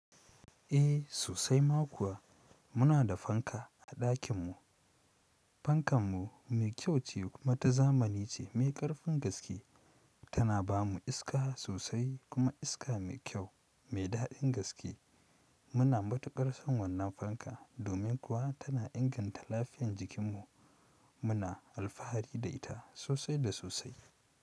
Eh sosai ma kuwa, muna da fanka a ɗakin mu. Fankanmu mai kyau ce kuma ta zamani ce mai ƙarfin gaske. Tana ba mu iska sosai kuma iska mai kyau mai daɗin gaske. Muna matuƙar son wannan fankar, domin kuwa tana inganta lafiyan jikinmu. Muna alfahari da ita sosai da sosai.